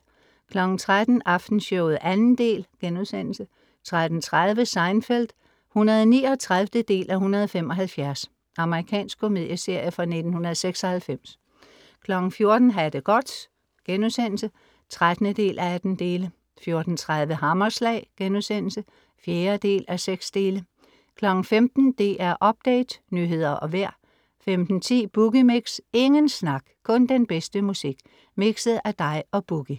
13:00 Aftenshowet 2. del* 13:30 Seinfeld (139:175) Amerikansk komedieserie fra 1996 14:00 Ha' det godt* (13:18) 14:30 Hammerslag* (4:6) 15:00 DR Update, nyheder og vejr 15:10 Boogie Mix. Ingen snak, kun den bedste musik, mixet af dig og Boogie